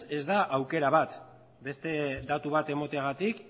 ez da aukera bat beste datu bat emateagatik